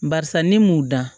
Barisa ne m'u dan